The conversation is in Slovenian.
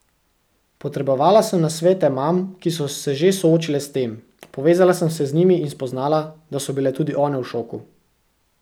Potrebovala sem nasvete mam, ki so se že soočile s tem, povezala sem se z njimi in spoznala, da so bile tudi one v šoku.